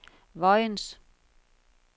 Vojens